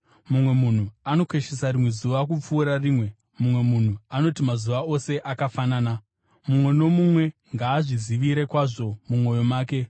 Mumwe munhu anokoshesa rimwe zuva kupfuura rimwe: mumwe munhu anoti mazuva ose akafanana. Mumwe nomumwe ngaazvizivire kwazvo mumwoyo make.